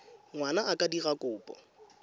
ngwana a ka dira kopo